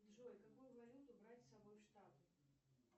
джой какую валюту брать с собой в штаты